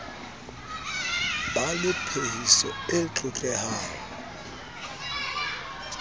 ba le phehiso e tlotlehang